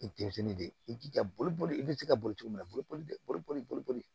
I ye denmisɛnnin de ye i jija boli i bɛ se ka boli cogo min na boli boli